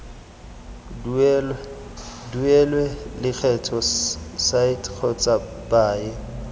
duelwe lekgetho site kgotsa paye